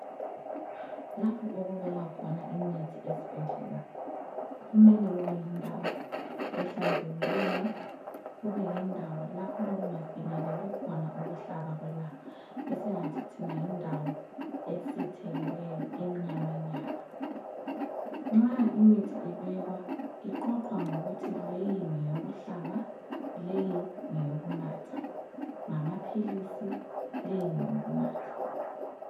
Lapho okubekwa khona imithi esibhedlela kumele kube yindawo ehlanzekileyo, kubeyindawo lapho okungafinyeleli khona ukuhlaba kwelanga. Esingathi thina yindawo esithekileyo emnyama nyana, nxa imithi ibekwa iqoqwa ngokuthi leyi ngeyokuhlaba leyi ngeyokunatha ngamaphilisi leyi ngeyokunatha.